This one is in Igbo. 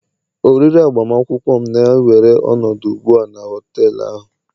oriri agbamakwụkwọ m na-ewere ọnọdụ ugbu a na họtel ahụ